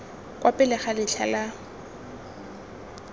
kwa pele ga letlha la